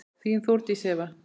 Þín, Þórdís Eva.